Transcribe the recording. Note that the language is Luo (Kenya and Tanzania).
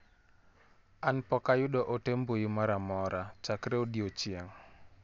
An pok ayudo ote mbui moro amora chakre odiochieng'